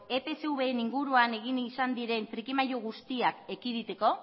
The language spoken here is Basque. epsvren inguruan egin izan diren trikimailu guztiak ekiditeko